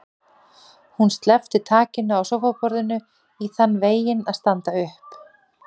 Hún sleppti takinu á sófaborðinu í þann veginn að standa upp.